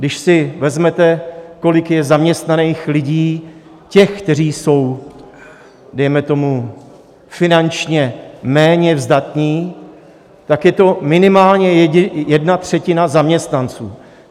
Když si vezmete, kolik je zaměstnaných lidí, těch, kteří jsou dejme tomu finančně méně zdatní, tak je to minimálně jedna třetina zaměstnanců.